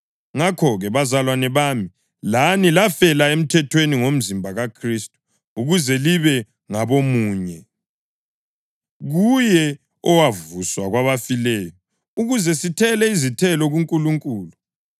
Ngakho-ke, bazalwane bami, lani lafela emthethweni ngomzimba kaKhristu, ukuze libe ngabomunye, kuye owavuswa kwabafileyo, ukuze sithele izithelo kuNkulunkulu.